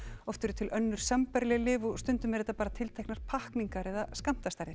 oft eru til önnur sambærileg lyf og stundum eru þetta bara tilteknar pakkningar eða skammtastærðir